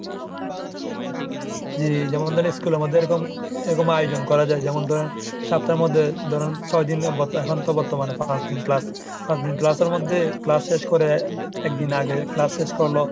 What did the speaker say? জি, যেমন ধরেন school এ আবার যেরকম এরকম আয়োজন করা যায় যেমন ধরেন সপ্তার মধ্যে ধরুন ছয় দিন এখন তো বর্তমানে পাঁচ দিন ক্লাস। পাঁচ দিন ক্লাসের মধ্যে ক্লাস শেষ করে একদিন আগে ক্লাস শেষ করালো